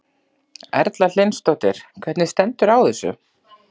Erla Hlynsdóttir: Hvernig stendur á þessu?